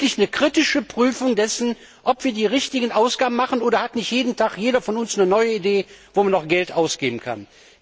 Führen wir wirklich eine kritische Prüfung dessen durch, ob wir die richtigen Ausgaben tätigen, oder hat nicht jeden Tag jeder von uns eine neue Idee, wo man noch Geld ausgeben könnte?